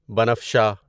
بنفشہ